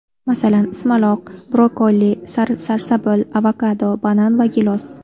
Masalan, ismaloq, brokkoli, sarsabil, avokado, banan va gilos.